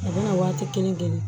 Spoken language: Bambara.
A bɛna waati kelen kelen